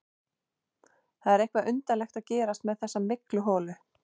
Það er eitthvað undarlegt að gerast með þessa mygluholu.